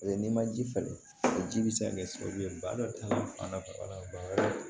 n'i ma ji falen o ji bɛ se ka kɛ sababu ye ba dɔ ta fan na